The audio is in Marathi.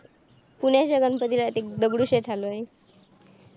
पुण्याच्या गणपतीला ते दगडूशेठ हलवाई